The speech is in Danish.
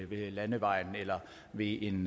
ved landevejen eller ved en